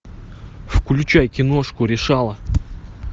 включай киношку решала